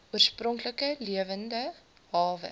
oorspronklike lewende hawe